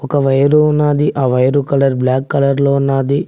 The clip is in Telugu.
ఒక వైర్ ఉన్నది ఆ వైరు కలర్ బ్లాక్ కలర్ లో ఉన్నది.